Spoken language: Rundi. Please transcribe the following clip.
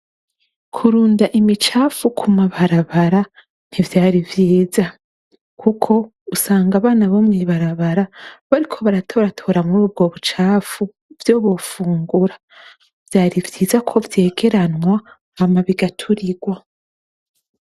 Kurunda imicafu ku mabarabara ntivyari vyiza kuko usanga abana bomw’ibarabara bariko baratoratora muri ubwo bucafu ivyo bofungura ,vyari vyiza ko vyegeranwa hama bigaturigwa.